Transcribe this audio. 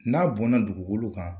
N'a bɔnna dugukolo kan.